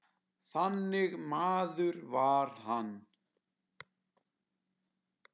Þannig maður var hann.